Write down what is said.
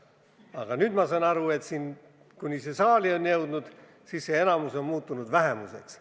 Aga praegu ma saan aru, et nüüd, kui eelnõu saali on jõudnud, on see enamus muutunud vähemuseks.